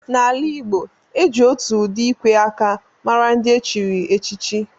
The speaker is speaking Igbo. Na ala igbo, e ji otù ụdị ikwè áká màrà ndị echiri échichi